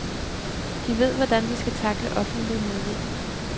De ved, hvordan de skal tackle offentlig modvind.